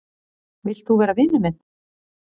Vilt þú vera vinur minn?